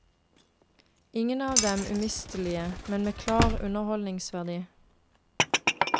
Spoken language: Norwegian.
Ingen av dem umistelige, men med klar underholdningsverdi.